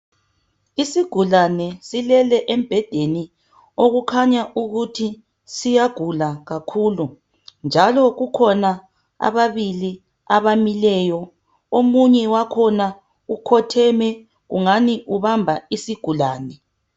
Isigulane silele embhedeni okukhanya ukuthi siyagula kakhulu njalo kukhona ababili abamileyo omunye wakhona ukhotheme ungani ubamba isigulane.